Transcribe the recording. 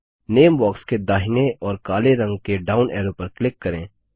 नामे box के दाहिने ओर काले रंग के डाउन एरो पर क्लिक करें